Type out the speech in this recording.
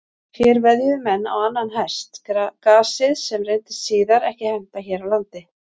Hér veðjuðu menn á annan hest, gasið, sem reyndist síðar ekki henta hér á landi.